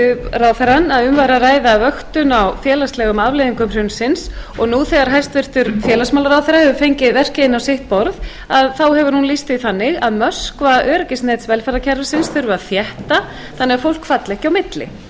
ráðherrann að um væri að ræða vöktun á félagslegum afleiðingum hrunsins og nú þegar hæstvirtur félagsmálaráðherra hefur verkið inn á sitt borð hefur hún lýst því þannig að möskvaöryggisnet velferðarkerfisins þurfi að þétta þannig að fólk falli ekki á milli